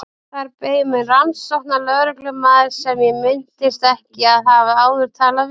Þar beið mín rannsóknarlögreglumaður sem ég minntist ekki að hafa áður talað við.